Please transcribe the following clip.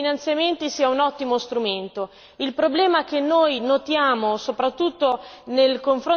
Io sono convinta che avere più fondi e più finanziamenti sia un ottimo strumento.